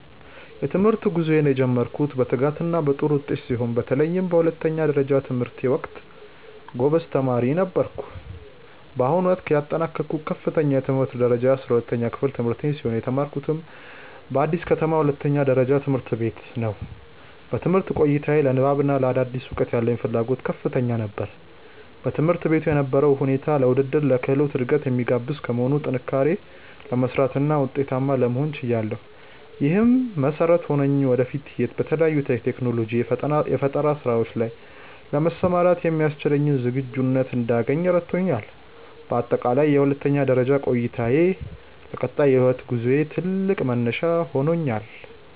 የትምህርት ጉዞዬን የጀመርኩት በትጋትና በጥሩ ውጤት ሲሆን፣ በተለይም በሁለተኛ ደረጃ ትምህርቴ ወቅት ጎበዝ ተማሪ ነበርኩ። በአሁኑ ወቅት ያጠናቀቅኩት ከፍተኛ የትምህርት ደረጃ የ12ኛ ክፍል ትምህርቴን ሲሆን፣ የተማርኩትም በአዲስ ከተማ ሁለተኛ ደረጃ ትምህርት ቤት ነው። በትምህርት ቆይታዬ ለንባብና ለአዳዲስ እውቀቶች ያለኝ ፍላጎት ከፍተኛ ነበር። በትምህርት ቤቱ የነበረው ሁኔታ ለውድድርና ለክህሎት እድገት የሚጋብዝ በመሆኑ፣ ጠንክሬ ለመስራትና ውጤታማ ለመሆን ችያለሁ። ይህም መሰረት ሆኖኝ ወደፊት በተለያዩ የቴክኖሎጂና የፈጠራ ስራዎች ላይ ለመሰማራት የሚያስችለኝን ዝግጁነት እንዳገኝ ረድቶኛል። በአጠቃላይ የሁለተኛ ደረጃ ቆይታዬ ለቀጣይ የህይወት ጉዞዬ ትልቅ መነሻ ሆኖኛል።